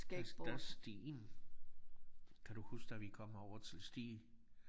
Der der sten kan du huske da vi kom herover til Stege?